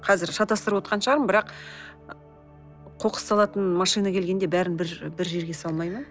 қазір шатастырып отырған шығармын бірақ қоқыс салатын машина келгенде барлығын бір бір жерге салмай ма